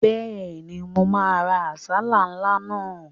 Bẹ́ẹ̀ni, mo máa ra àsálà ńlá náà